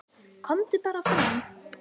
"""KOMDU BARA FRAM,"""